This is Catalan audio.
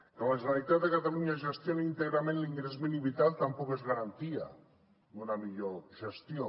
que la generalitat de catalunya gestioni íntegrament l’ingrés mínim vital tampoc és garantia d’una millor gestió